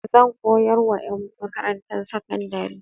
Zan koyar wa ƴan makarantar sakandari.